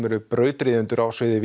eru brautryðjendur á sviði